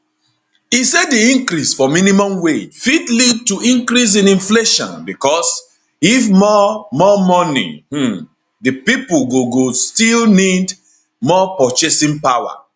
e say di increase for minimum wage fit lead to increase in inflation becos if more more moni um dey pipo go go still need more purchasing power